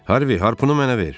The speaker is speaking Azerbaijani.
Harvi harpını mənə ver.